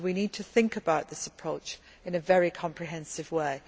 We need to think about this approach in a very comprehensive way.